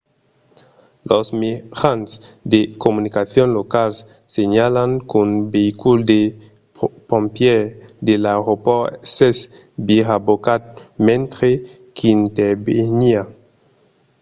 los mejans de comunicacion locals senhalan qu'un veïcul de pompièrs de l'aeropòrt s'es virabocat mentre qu'interveniá